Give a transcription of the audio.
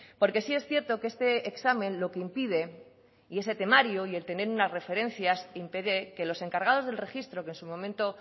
porque sí es cierto que este examen lo que impide y ese temario y el tener una referencias impide que los encargados del registro que en su momento